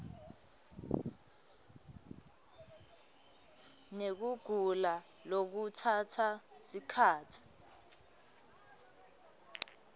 yekugula lekutsatsa sikhatsi